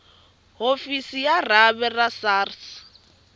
hofisi ya rhavi ra sars